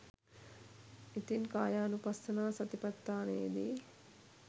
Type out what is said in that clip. ඉතින් කායානුපස්සනා සතිපට්ඨානයේදී